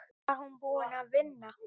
Var hún búin að vinna?